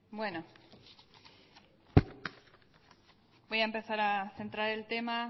bueno voy a empezar a centrar el tema